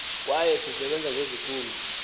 kwaye sisebenze ngeziphumo